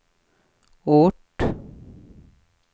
ort